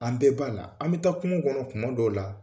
An bɛɛ b'ala an bɛ taa kungo kɔnɔ tuma dɔw la